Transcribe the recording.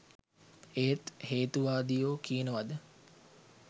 ඒත් හේතුවාදියො කියනවද